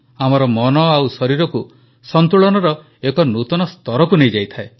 ଆମର ମନ ଓ ଶରୀରକୁ ସନ୍ତୁଳନର ଏକ ନୂତନ ସ୍ତରକୁ ନେଇଯାଇଥାଏ